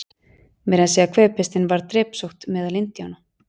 Meira að segja kvefpestin varð drepsótt meðal Indíána.